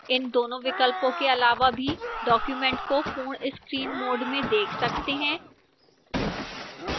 इन दोनों विकल्पों के अलावा भी documents को पूर्ण screen mode में देख सकते हैं